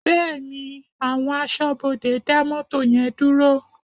Bẹ́ẹ̀ni, àwọn aṣọ́bodè dá mọ́tò yẹn dúró?